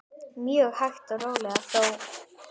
Mjög hægt og rólega þó.